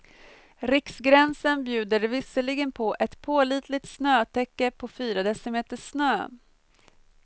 Riksgränsen bjuder visserligen på ett pålitligt snötäcke på fyra decimeter snö.